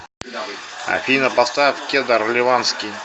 афина поставь кедр ливанский